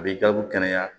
A b'i jaabi kɛnɛya